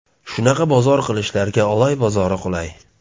Shunaqa bozor qilishlarga Oloy bozori qulay.